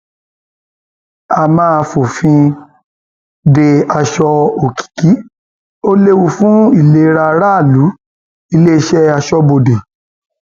a máa fòfin de aṣọ òkìkí ó léwu fún ìlera aráàlú iléeṣẹ aṣọbodè